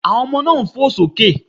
Àwọn ọmọ náà ń fò sókè.